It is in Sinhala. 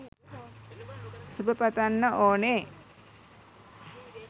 සුබ පතන්න ඕනේ.